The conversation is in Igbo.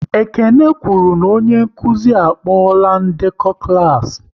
Ekene kwụrụ na onye nkụzi a kpola ndekọ klas